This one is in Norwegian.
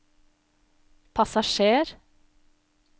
passasjer